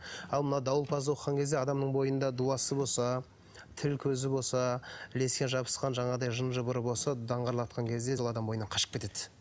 ал мынау дауылпазды оқыған кезде адамның бойында дуасы болса тіл көзі болса ілескен жабысқан жаңағы жын жыбыр болса даңғырлатқан кезде ол адам бойынан қашып кетеді